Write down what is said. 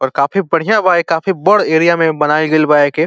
और काफी बढ़िया बा ए काफी बड़ एरिया में बनाइल गइल बा एके --